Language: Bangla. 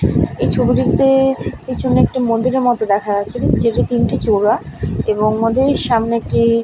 এই ছবিটিতে পিছনে একটি মন্দিরের মতো দেখা যাচ্ছে যেটি তিনটি চূড়া এবং মন্দিরের সামনে একটি--